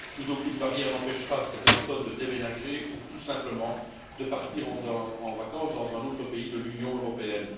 Plus aucune barrière n'empêchera ces personnes de déménager ou tout simplement de partir en vacances dans un autre pays de l'Union européenne.